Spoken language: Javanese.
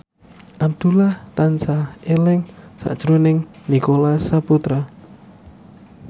Abdullah tansah eling sakjroning Nicholas Saputra